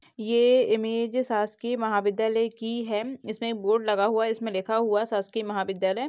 ये इमेज शासकीय महाविद्यालय की है इसमें एक बोर्ड लगा हुआ है जिसमे लिखा हुआ है शासकीय महाविद्यालय--